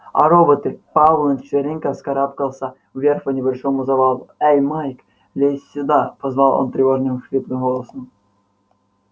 а роботы пауэлл на четвереньках вскарабкался вверх по небольшому завалу эй майк лезь сюда позвал он тревожным хриплым голосом